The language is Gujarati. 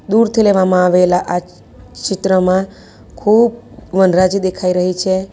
દૂરથી લેવામાં આવેલા આ ચિત્રમાં ખૂબ વનરાજી દેખાઈ રહી છે.